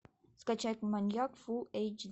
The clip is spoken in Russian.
скачать маньяк фул эйч